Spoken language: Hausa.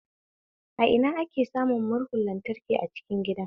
A ina ake samun murhun lantraki a cikin gida?